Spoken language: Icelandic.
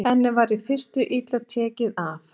Henni var í fyrstu illa tekið af